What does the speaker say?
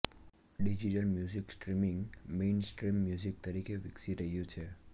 digital music streaming mainstream music તરીકે વિકસી રહ્યું છે